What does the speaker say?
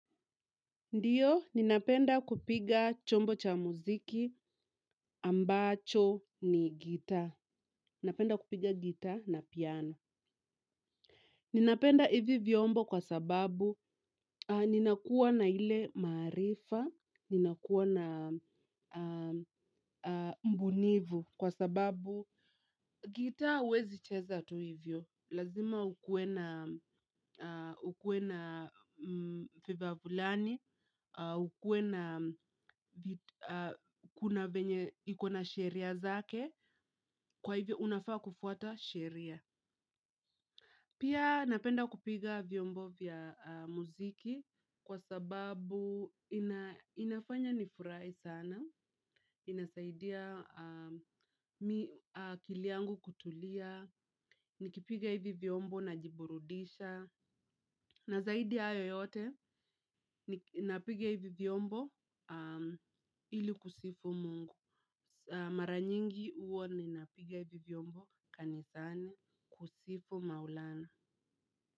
Ndio, ninapenda kupiga chombo cha muziki ambacho ni gitaa. Ninapenda kupiga gitaa na piano. Ninapenda hivi vyombo kwa sababu ninakuwa na ile marifa, ninakuwa na mbunifu kwa sababu gita huwezi cheza tu hivyo. Lazima ukuwe na vifaa fulani, ukuwe na kuna venye, ikona sheria zake, kwa hivyo unafaa kufuata sheria. Pia napenda kupiga vyombo vya muziki kwa sababu inafanya nifurahi sana, inasaidia akili yangu kutulia, nikipiga hivi vyombo najiburudisha. Na zaidi ya hayo yote ninapiga hivi vyombo ili kusifu Mungu. Mara nyingi huwa ninapiga hivi vyombo kanisani kusifu Maulana.